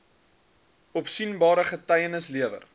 opsienbare getuienis gelewer